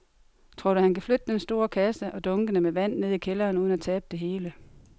Tror du, at han kan flytte den store kasse og dunkene med vand ned i kælderen uden at tabe det hele?